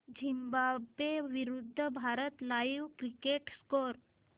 Zimbabwe विरूद्ध Bharat live cricket score